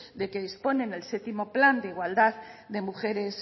de que dispone en el séptimo plan de igualdad de mujeres